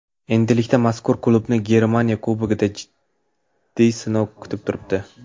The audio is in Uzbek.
Endilikda mazkur klubni Germaniya Kubogida jiddiy sinov kutib turibdi.